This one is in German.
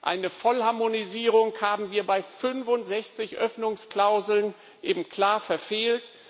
Eine Vollharmonisierung haben wir bei 65 Öffnungsklauseln eben klar verfehlt.